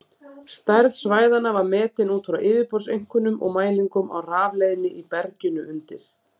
Stærð svæðanna var metin út frá yfirborðseinkennum og mælingum á rafleiðni í berginu undir.